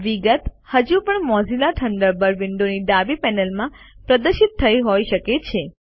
વિગત હજુ પણ મોઝિલા થન્ડરબર્ડ વિન્ડોની ડાબી પેનલમાં પ્રદર્શિત થઇ હોય શકે છે